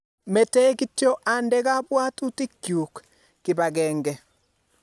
Mete kityo ande kabuatutik chuk kibageng'e